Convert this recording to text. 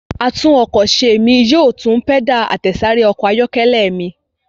Atúnọkọ̀ṣe mí yóò tún pẹ́dà àtẹ̀sáré ọkọ̀ ayọ́kẹ́lẹ́ mi.